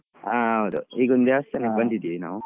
ಹಾ ಹೌದು. ಈಗೊಂದು ದೇವಸ್ಥಾನಕ್ಕೆ ಬಂದಿದೀವಿ ನಾವು.